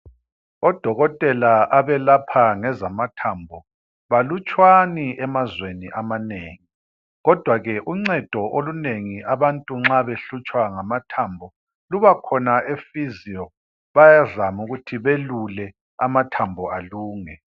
Odokotela abelapha ngezamathambo balutshwani emazweni amanengi kodwa ke uncedo olunengi abantu nxa behlutshwa ngamathambo luba khona efiziyo bayazama ukuthi belule amathambo alunge.